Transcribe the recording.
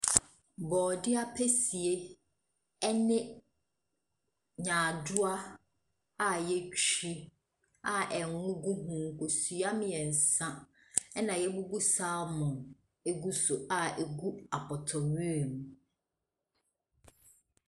Borɔdeɛ ampesie ɛne nyaadoa a yɛatwi a ngo gugu so, kosua mmiɛnsa na yɛabubu dsaamɔn agu so a egu apɔtɔwewa mu.